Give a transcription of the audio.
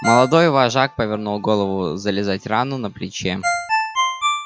молодой вожак повернул голову зализать рану на плече